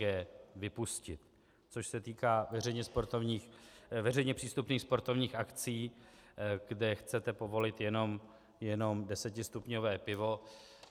g) vypustit, což se týká veřejně přístupných sportovních akcí, kde chcete povolit jenom desetistupňové pivo.